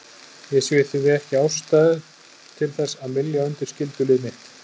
Ég sé því ekki ástæðu til þess að mylja undir skyldulið mitt.